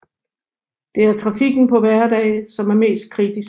Det er trafikken på hverdage som er mest kritisk